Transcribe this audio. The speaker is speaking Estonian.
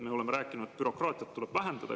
Me oleme rääkinud, et bürokraatiat tuleb vähendada.